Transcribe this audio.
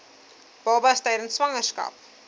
babas tydens swangerskap